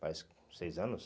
Faz seis anos?